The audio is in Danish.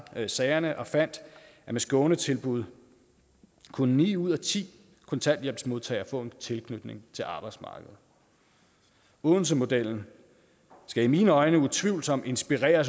sagerne og fandt at med skånetilbud kunne ni ud af ti kontanthjælpsmodtagere få en tilknytning til arbejdsmarkedet odensemodellen skal i mine øjne utvivlsomt inspirere